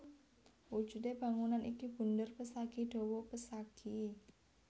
Wujude bangunan iki bunder pesagi dawa pesagi